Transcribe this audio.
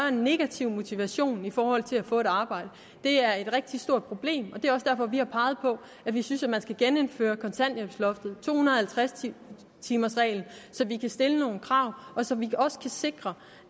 en negativ motivation i forhold til at få et arbejde det er et rigtig stort problem og det er også derfor vi har peget på at vi synes at man skal gennemføre kontanthjælpsloftet og to hundrede og halvtreds timers reglen så vi kan stille nogle krav og så vi også kan sikre